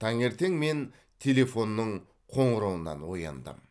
таңертең мен телефонның қоңырауынан ояндым